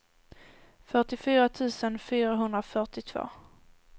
fyrtiofyra tusen fyrahundrafyrtiotvå